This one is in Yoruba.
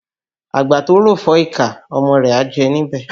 Àgbà tó ròfọ́ ìkà, ọmọ rẹ̀ á jẹ níbẹ̀